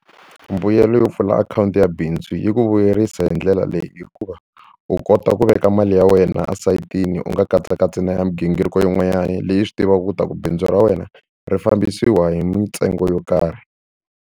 Mbuyelo yo pfula akhawunti ya bindzu yi ku vuyerisa hi ndlela leyi hikuva u kota ku veka mali ya wena esayitini u nga katsakatsi na ya migingiriko yin'wanyani leyi i swi tivaka ku ta ku bindzu ra wena ri fambisiwa hi mintsengo yo karhi.